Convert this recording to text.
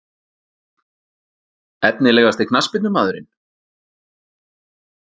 Efnilegasti knattspyrnumaðurinn?